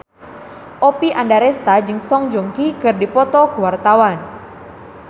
Oppie Andaresta jeung Song Joong Ki keur dipoto ku wartawan